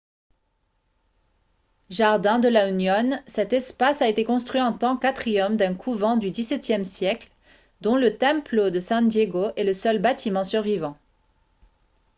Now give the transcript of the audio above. jardín de la unión. cet espace a été construit en tant qu'atrium d'un couvent du xviie siècle dont le templo de san diego est le seul bâtiment survivant